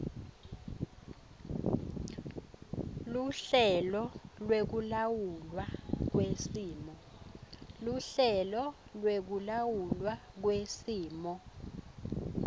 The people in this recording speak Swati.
luhlelo lwekulawulwa kwesimo